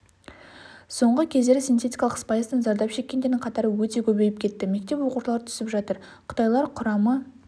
соңғы кездері синтетикалық спайстан зардап шеккендердің қатары өте көбейіп кетті мектеп оқушылары түсіп жатыр қытайлар құрамы